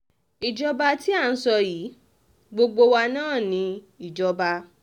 ìjọba tí à ń sọ yìí gbogbo wa náà ni ìjọba